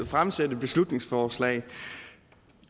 fremsætte beslutningsforslag